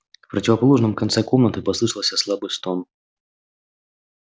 в противоположном конце комнаты послышался слабый стон